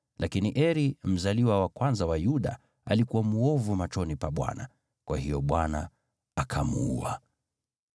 Lakini Eri, mzaliwa wa kwanza wa Yuda, alikuwa mwovu machoni pa Bwana , kwa hiyo Bwana akamuua.